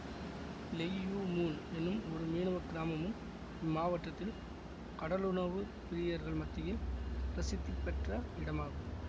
Lei Yue Mun எனும் ஒரு மீனவ கிராமமும் இம்மாவட்டத்தில் கடலுணவுப் பிரியர்கள் மத்தியில் பிரசித்திப்பெற்ற இடமாகும்